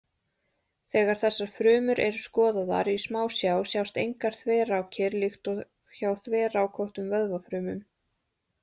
Þegar þessar frumur eru skoðaðar í smásjá sjást engar þverrákir líkt og hjá þverrákóttum vöðvafrumum.